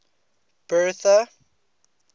bertha